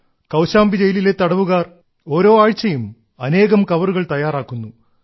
കൌശാംബി ജയിലിലെ തടവുകാർ ഓരോ ആഴ്ചയിലും അനേകം കവറുകൾ തയ്യാറാക്കുന്നു